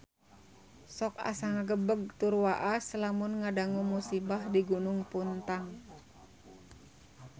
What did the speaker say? Sok asa ngagebeg tur waas lamun ngadangu musibah di Gunung Puntang